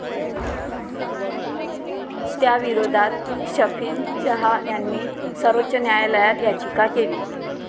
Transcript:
त्याविरोधात शफिन जहा यांनी सर्वोच्च न्यायालयात याचिका केली.